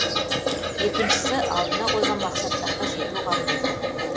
екіншісі алдына қойған мақсаттарға жету қабілеті